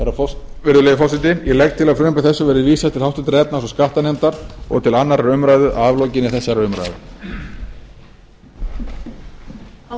virðulegi forseti ég legg til að frumvarpi þessu verði vísað til háttvirtrar efnahags og skattanefndar og til annarrar umræðu að aflokinni þessari umræðu